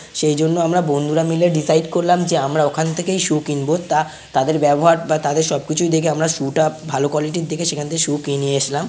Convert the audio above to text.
সেই জন্য আমরা বন্ধুরা মিলে ডিসাইড করলাম যে আমরা ওখান থেকেই সু কিনব। তা তাদের ব্যবহার বা তাদের সবকিছুই দেখে আমরা সু - টা ভালো কোয়ালিটির দেখে সেখান থেকে সু কি নিয়ে এসছিলাম।